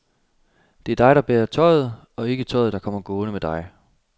Det er dig, der bærer tøjet, og ikke tøjet, der kommer gående med dig.